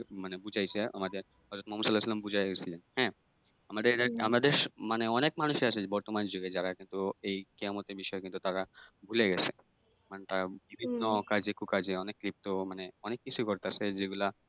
মানে বুঝাইছে আমাদের হজরত মুহাম্মদ সাল্লাল্লাহু সাল্লাম বুঝাইয়া গেছিলেন হ্যাঁ? আমাদের আমাদের মানে অনেক মানুষ আছে বর্তমান যুগে যারা কিন্তু এই কেয়ামতের বিষয়ে কিন্তু তারা ভুইলা গেছে। মানে তারা বিভিন্ন অকাজে-কুকাজে অনেক লিপ্ত মানে অনেক কিছুই করতাছে যেগুলা